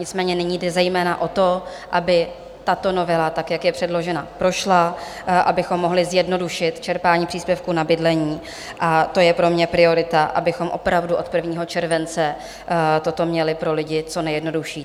Nicméně nyní jde zejména o to, aby tato novela, tak jak je předložena, prošla, abychom mohli zjednodušit čerpání příspěvku na bydlení, a to je pro mě priorita, abychom opravdu od 1. července toto měli pro lidi co nejjednodušší.